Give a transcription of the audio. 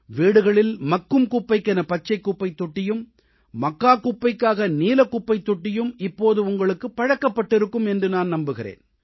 வீடுகளில் மக்கும் குப்பைக்கென பச்சைக் குப்பைத்தொட்டியும் மக்காக் குப்பைக்காக நீலக் குப்பைத்தொட்டியும் இப்போது உங்களுக்குப் பழக்கப்பட்டிருக்கும் என்று நான் நம்புகிறேன்